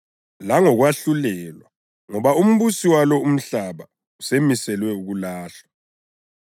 langokwahlulelwa, ngoba umbusi walo umhlaba usemiselwe ukulahlwa.